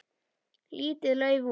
Lítið lauf út.